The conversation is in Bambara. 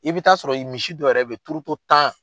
I bɛ taa sɔrɔ ye misi dɔ yɛrɛ bɛ ye turoto tan